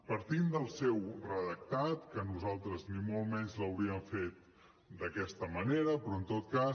partint del seu redactat que nosaltres ni molt menys l’hauríem fet d’aquesta manera però en tot cas